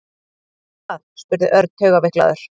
Veistu það? spurði Örn taugaveiklaður.